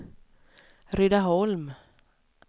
Rydaholm